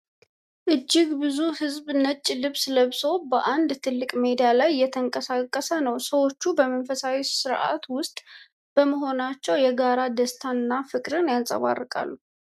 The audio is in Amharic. እጅግ ብዙ ሕዝብ ነጭ ልብስ ለብሶ በአንድ ትልቅ ሜዳ ላይ እየተንቀሳቀስ ነው። ሰዎቹ በመንፈሳዊ ሥርዓት ውስጥ በመሆናቸው የጋራ ደስታን እና ፍቅርን ያንጸባርቃሉ።